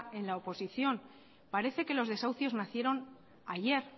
en la oposición parece que los desahucios nacieron ayer